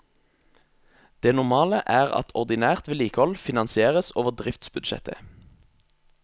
Det normale er at ordinært vedlikehold finansieres over driftsbudsjettet.